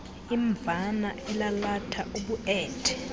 imvana elalatha ubuethe